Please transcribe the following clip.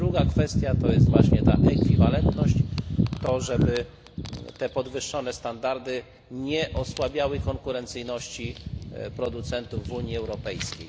I druga kwestia to jest właśnie ta ekwiwalentność, to, żeby te podwyższone standardy nie osłabiały konkurencyjności producentów w Unii Europejskiej.